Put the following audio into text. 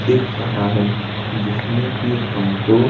दिख रहा है जिसमें कि हमको--